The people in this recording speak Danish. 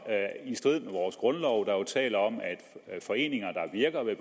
i strid med vores grundlov der jo taler om at foreninger der virker ved